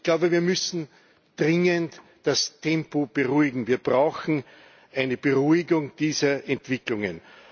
Ich glaube, wir müssen dringend das Tempo beruhigen, wir brauchen eine Beruhigung dieser Entwicklungen.